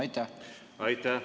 Aitäh!